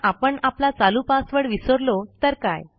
पण आपण आपला चालू पासवर्ड विसरलो तर काय